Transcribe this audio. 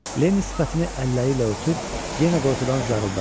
Lenni sifətini əlləri ilə örtüb, yenə qorxudan zarıldadı.